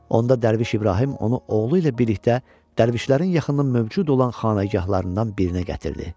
Onda Dərviş İbrahim onu oğlu ilə birlikdə Dərvişlərin yaxınının mövcud olan xanagahlarından birinə gətirdi.